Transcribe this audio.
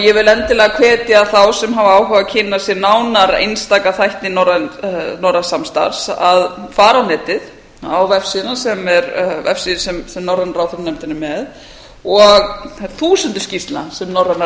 ég vil endilega hvetja þá sem hafa áhuga á að kynna sér nánar einstaka þætti norræns samstarfs að fara á netið á vefsíðan sem er vefsíða sem norræna ráðherranefndin er með og þær þúsundir skýrslna sem norræna